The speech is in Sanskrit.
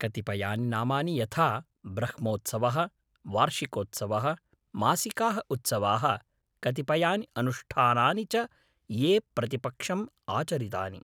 कतिपयानि नामानि यथा ब्रह्मोत्सवः, वार्षिकोत्सवः, मासिकाः उत्सवाः, कतिपयानि अनुष्ठानानि च ये प्रतिपक्षम् आचरितानि।